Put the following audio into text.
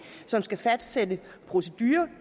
som skal fastsætte proceduren